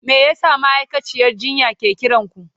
Me yasa ma'aikaciyar jinya ke kiran ku?